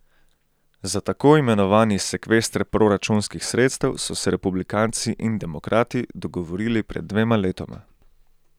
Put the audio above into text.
Za tako imenovani sekvester proračunskih sredstev so se republikanci in demokrati dogovorili pred dvema letoma.